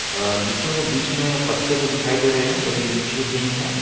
लीचीयो के बीच में पत्ते पर दिखाई दे रहे हैं जो की लीचीयो के है।